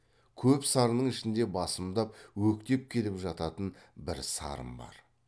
көп сарынның ішінде басымдап өктеп келіп жататын бір сарын бар